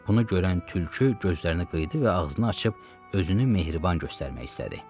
Bunu görən tülkü gözlərini qıyırdı və ağzını açıb özünü mehriban göstərmək istədi.